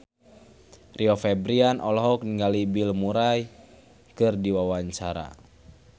Rio Febrian olohok ningali Bill Murray keur diwawancara